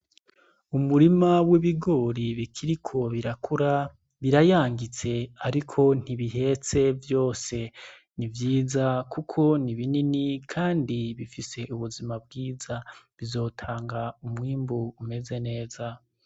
Umurima w'ibigori bikiriko birakura birayangitse, ariko ntibihetse vyose ni vyiza, kuko ni binini, kandi bifise ubuzima bwiza bizotanga umwimbu umeze neza.